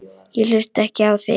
Ég hlusta ekki á þig.